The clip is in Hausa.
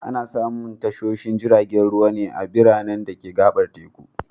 Ana samun tashoshin jiragen ruwa ne a biranen da ka gabar teku.